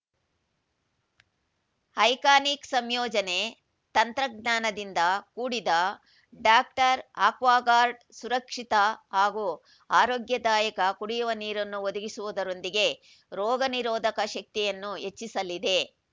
iconic ಸಂಯೋಜನೆ ತಂತ್ರಜ್ಞಾನದಿಂದ ಕೂಡಿದ ಡಾಕ್ಟರ್ ಆಕ್ವಾಗಾರ್ಡ್ ಸುರಕ್ಷಿತ ಹಾಗೂ ಆರೋಗ್ಯದಾಯಕ ಕುಡಿಯುವ ನೀರನ್ನು ಒದಗಿಸುವುದರೊಂದಿಗೆ ರೋಗ ನಿರೋಧಕ ಶಕ್ತಿಯನ್ನು ಹೆಚ್ಚಿಸಲಿದೆ